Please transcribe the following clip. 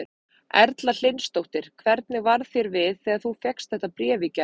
Erla Hlynsdóttir: Hvernig varð þér við þegar þú fékkst þetta bréf í gær?